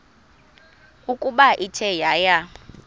ukuba ithe yaya